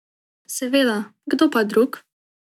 Seveda, kdo pa drug?